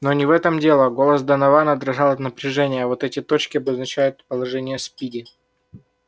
но не в этом дело голос донована дрожал от напряжения вот эти точки обозначают положение спиди